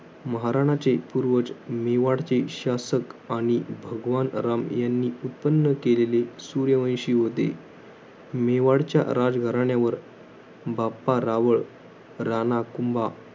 महाराणाचे पूर्वज, मेवाडचे शासक आणि भगवान राम, यांनी उत्पन्न केलेले सूर्यवंशी होते. मेवाडच्या राजघराण्यावर, बाप्पा रावळ, राणा कुंभा